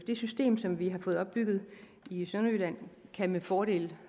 det system som vi har fået opbygget i sønderjylland med fordel